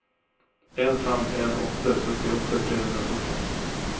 en fem en åtte syttiåtte tre hundre og førti